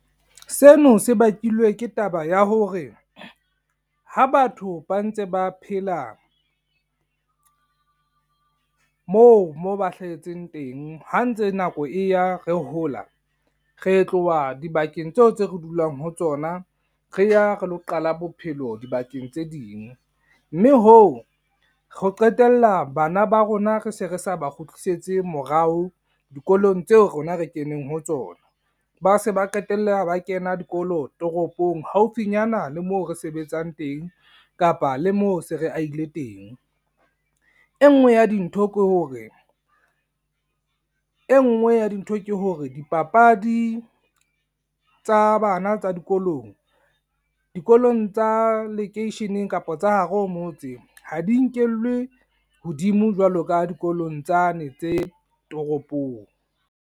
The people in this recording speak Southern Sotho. Seno se bakilwe ke taba ya hore, ha batho ba ntse ba phela moo mo ba hlahetseng teng. Ha ntse nako e ya, re hola. Re tloha dibakeng tseo tse re dulang ho tsona, re ya re lo qala bophelo dibakeng tse ding. Mme hoo re qetella bana ba rona re se re sa ba kgutlisetse morao, dikolong tseo rona re keneng ho tsona. Ba se ba qetella ba kena dikolo toropong haufinyana le mo re sebetsang teng kapa le moo se re ahile teng. E nngwe ya dintho ke hore, e nngwe ya dintho ke hore dipapadi tsa bana tsa dikolong. Dikolong tsa lekeisheneng kapa tsa hara ho motse. Ha di nkelwe hodimo jwalo ka dikolong tsane tse toropong.